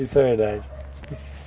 Isso é verdade.